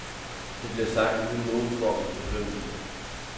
Det bliver sagt uden nogen form for fordømmelse.